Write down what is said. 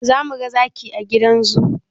Za mu ga zaki a gidan zoo?